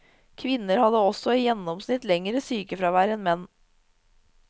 Kvinner hadde også i gjennomsnitt lengre sykefravær enn menn.